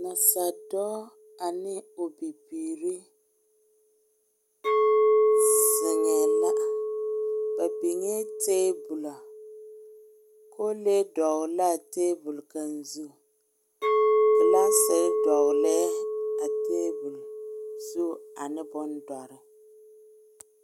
Nasaaldɔɔ ane o bibiiri zeŋɛ la, ba biŋɛ tabolɔ, kole kaŋ dɔgeli la a tabol zu, glassiri dɔgeli lɛɛ a tabol zu ane bondoɔre